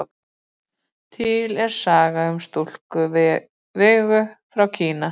Til er saga um stúlkuna Vegu frá Kína.